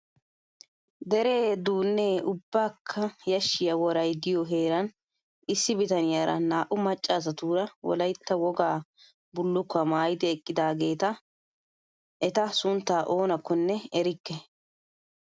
Deree duunnee ubbakka yashshiyaa worayi diyoo heeran issi bitaniyaara naa'u macca asatuura wolayitta wogaa bullukkuwaa maayyidi eqqidaageeta. Eata suntta oonakkkonne erikke.